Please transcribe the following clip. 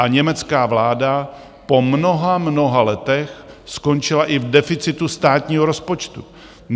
A německá vláda po mnoha, mnoha letech skončila i v deficitu státního rozpočtu.